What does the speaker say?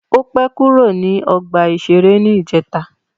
Ó pẹ́ kúrò ní ọgbà-ìṣeré ní ìjẹta